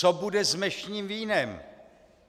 Co bude s mešním vínem?